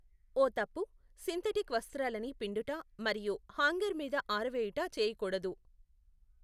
ఓ తప్పు, సింధటిక్ వస్త్రాలని పిండుట మరియు హాంగర్ మీద ఆరవేయుట చేయకూడదు.